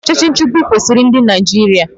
Ọchịchị nchịgbu ekwesiri ndị Naịjirịa?